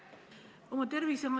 Austatud härra peaminister!